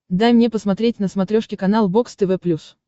дай мне посмотреть на смотрешке канал бокс тв плюс